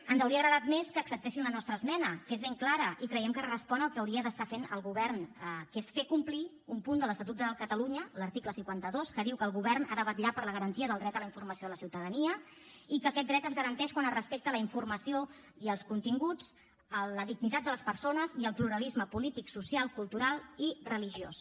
ens hauria agradat més que acceptessin la nostra esmena que és ben clara i creiem que respon al que hauria d’estar fent el govern que és fer complir un punt de l’estatut de catalunya l’article cinquanta dos que diu que el govern ha de vetllar per la garantia del dret a la informació a la ciutadania i que aquest dret es garanteix quan es respecta la informació i els continguts la dignitat de les persones i el pluralisme polític social cultural i religiós